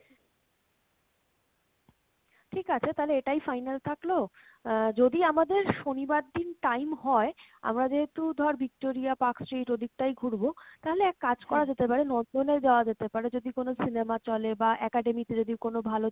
ঠিক আছে তালে এটাই ফাইনাল থাকলো আহ যদি আমাদের শনিবার দিন time হয় আমাদের তো ধর Victoria, Park Street ওদিক টাই ঘুরবো, তাহলে এক কাজ করা যেতে পারে যাওয়া যেতে পারে যদি কোনো cinema চলে বা academic যদি কোনো ভালো